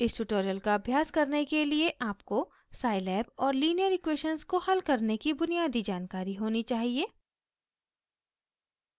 इस ट्यूटोरियल का अभ्यास करने से पहले आपको scilab और लीनियर इक्वेशन्स को हल करने की बुनियादी जानकारी होनी चाहिए